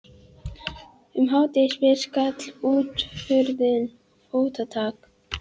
Um hádegisbil skall útihurðin og fótatak